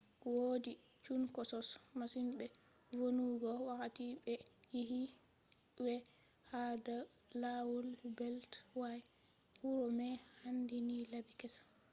wodi chunkosos masin be vonnugo wakkati be yecci wai ha do lawol beltway huro mai handini labi kessa